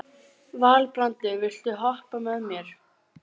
Alexía, spilaðu lag.